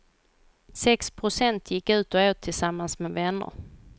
Sex procent gick ut och åt tillsammans med vänner.